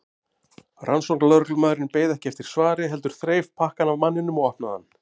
Rannsóknarlögreglumaðurinn beið ekki eftir svari heldur þreif pakkann af manninum og opnaði hann.